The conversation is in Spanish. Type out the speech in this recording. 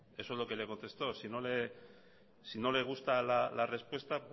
eso es lo que le contestó si no le gusta la respuesta